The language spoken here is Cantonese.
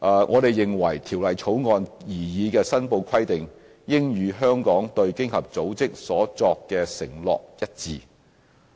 我們認為，《條例草案》擬議的申報規定應與香港對經合組織所作的承諾一致。